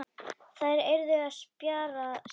Þær yrðu að spjara sig.